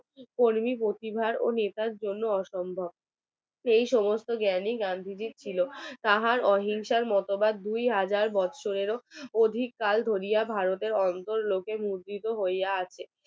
সেই সমস্ত জ্ঞানী গান্ধীজীর ছিল তার অহিংসার মতবাদ দুহাজার এগারো উর্ধ্বে। ভারতের অন্তর কাল লোহিয়া লইয়া আছে